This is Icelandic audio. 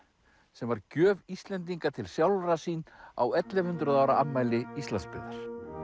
sem var gjöf Íslendinga til sjálfra sín á ellefu hundruð ára afmæli Íslandsbyggðar